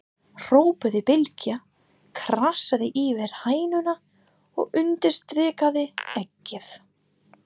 hrópaði Bylgja, krassaði yfir hænuna og undirstrikaði eggið.